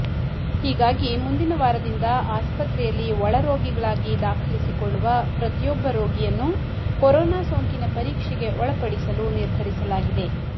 ಹೀಗಾಗಿ ಮುಂದಿನ ವಾರದಿಂದ ಆಸ್ಪತ್ರೆಯಲ್ಲಿ ಒಳರೋಗಿಗಳಾಗಿ ದಾಖಲಿಸಿಕೊಳ್ಳುವ ಪ್ರತಿಯೊಬ್ಬ ರೋಗಿಯನ್ನೂ ಕೊರೋನಾ ಸೋಂಕಿನ ಪರೀಕ್ಷೆಗೆ ಒಳಪಡಿಸಲು ನಿರ್ಧರಿಸಲಾಗಿದೆ